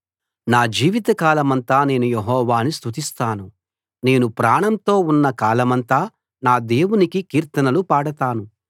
నా జీవితకాలమంతా నేను యెహోవాను స్తుతిస్తాను నేను ప్రాణంతో ఉన్న కాలమంతా నా దేవునికి కీర్తనలు పాడతాను